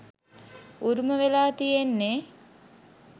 උරුම වෙලා තියෙන්නේ.